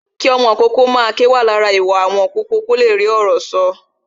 Kí ọmọ ìkókó máa ké jẹ́ lára ìwà ọmọ ìkókó kó le rí ọ̀rọ̀ sọ